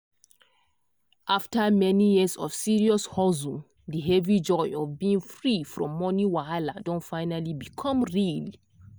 after many years of serious hustle the heavy joy of being free from money wahala don finally become real.